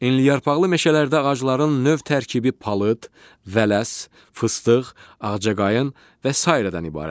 Enliyarpaqlı meşələrdə ağacların növ tərkibi palıd, vələs, fıstıq, ağcaqayın və sairədən ibarətdir.